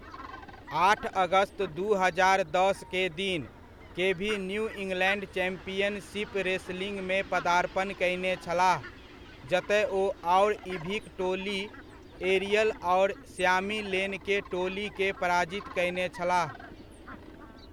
आठ अगस्त दू हजार दस के दिन, केभी न्यु इंग्लैण्ड चैम्पियनशिप रेस्लिङमे पर्दापण कयने छलाह जतय ओ आओर इभिक टोली एरियल आओर स्यामि लेन के टोली के पराजित कयने छलाह।